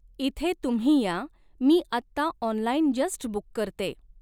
इथे तुम्ही या मी आत्ता ऑनलाईन जस्ट बुक करते